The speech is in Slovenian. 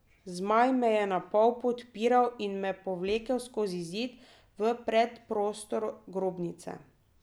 Zmaj me je napol podpiral in me povlekel skozi zid v predprostor grobnice.